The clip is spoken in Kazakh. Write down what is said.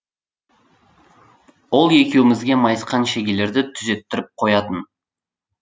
ол екеумізге майысқан шегелерді түзеттіріп қоятын